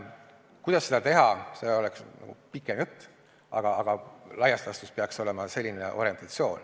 Kuidas seda teha, see on nagu pikem jutt, aga laias laastus peaks see olema selline orientatsioon.